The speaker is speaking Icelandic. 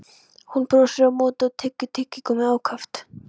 Hann brosir á móti og tyggur tyggigúmmí ákaft.